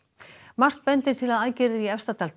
margt bendir til að aðgerðir í Efstadal